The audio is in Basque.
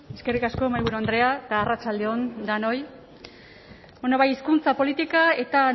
eskerrik asko mahaiburu andrea eta arratsalde on danoi hizkuntza politika eta